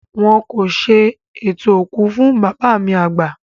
Wọn kò ṣe ètò òkú fún bàbá mi àgbà